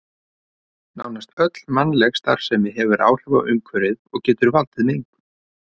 Nánast öll mannleg starfsemi hefur áhrif á umhverfið og getur valdið mengun.